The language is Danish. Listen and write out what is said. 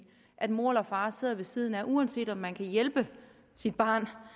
at mor eller far sidder ved siden af uanset om man kan hjælpe sit barn